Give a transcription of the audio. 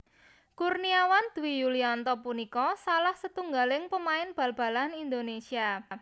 Kurniawan Dwi Yulianto punika salah setunggaling pamain bal balan Indonésia